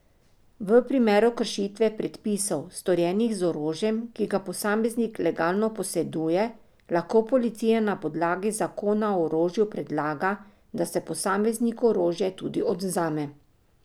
V primeru kršitve predpisov, storjenih z orožjem, ki ga posameznik legalno poseduje, lahko policija na podlagi zakona o orožju predlaga, da se posamezniku orožje tudi odvzame.